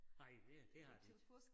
Nej det det har de ikke